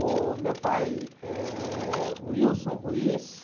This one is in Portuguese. O meu pai é.